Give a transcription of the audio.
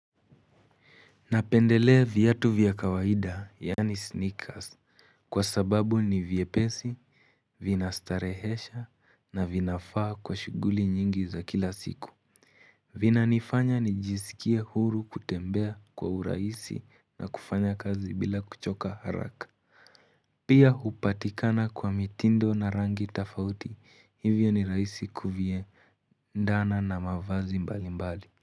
Napendelea viatu vyakawaida yaani sneakers kwa sababu ni vyepesi, vina starehesha na vinafaa kwa shughuli nyingi za kila siku vina nifanya ni jisikia huru kutembea kwa urahisi na kufanya kazi bila kuchoka haraka Pia upatikana kwa mitindo na rangi tafauti hivyo ni rahisi kuvie ndana na mavazi mbali mbali.